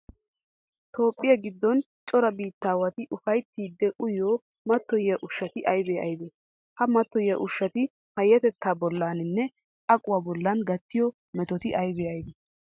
Toophphiya giddon cora biittaawati ufayttidi uyiyo mattoyiya ushshati aybee aybee? Ha mattoyiya ushshati payyatettaa bollaaninne aquwa bollan gattiyo metoti aybee aybee?